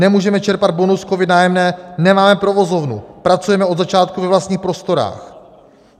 Nemůžeme čerpat bonus COVID - Nájemné, nemáme provozovnu, pracujeme od začátku ve vlastních prostorách.